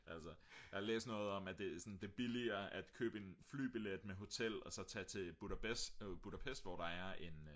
altså jeg har læst noget om at det er billigere at købe en flybillet med hotel og så tage til Budapest hvor der er en